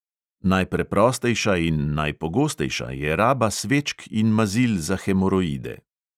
Najpreprostejša in najpogostejša je raba svečk in mazil za hemoroide.